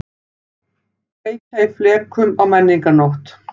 Kveikja í flekum á menningarnótt